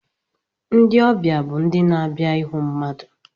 Ndị ọbịa bụ ndị na-abịa ịhụ mmadụ.